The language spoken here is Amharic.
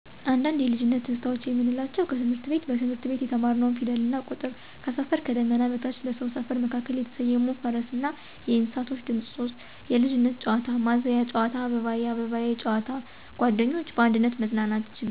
አንዳንድ የልጅነት ትዝታዎች የምንላቸው 1. ከትምህረት ቤት: በትምህርት ቤት የተማርንው ፊደልና ቁጥር። ትምህርት ቤት ከትምህርት ቤት የተምሳሌት ጨዋታ ወይም የወዳጅነት ጨዋታ። 2. ከሰፈር: ከዳመና በታች በሰው ሰፈር መካከል የተሰየሙ የፈረስ ና የእንሰሳት ድምፆች። 3. የልጅነት ጨዋታ: ማዘያ ጨዋታ አባባዬ አባባዬ ጨዋታ ቀለም ሽቦ ጨዋታ ድንጋይ ከምር ጨዋታ። 4. ጓደኞች: በአንድነት መዝናናት ችግኝ መትከል በበጎፍቃደኝነት ስራ ላይ መሳተፍ።